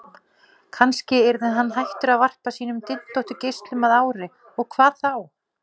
Kannski yrði hann hættur að varpa sínum dyntóttu geislum að ári, og hvað þá?